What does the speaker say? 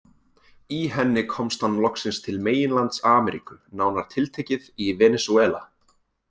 Í henni komst hann loksins til meginlands Ameríku, nánar tiltekið í Venesúela.